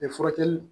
furakɛli